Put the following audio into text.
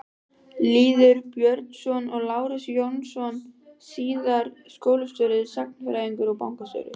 Þetta er breitt rúm með traustum trégöflum úr ljósum viði.